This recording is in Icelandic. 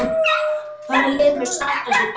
Hvaða lið mun standa sig best?